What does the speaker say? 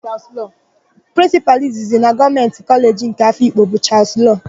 Prịnsịpalụ izizi na Gọọmenti Kọleji nke Afikpo bụ Chalụsị Loo.